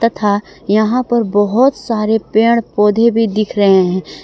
था यहां पर बहोत सारे पेड़ पौधे भी दिख रहे हैं।